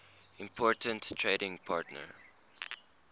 important trading partner